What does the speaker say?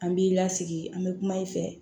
An b'i lasigi an bɛ kuma i fɛ